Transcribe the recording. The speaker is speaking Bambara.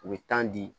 U bɛ tan di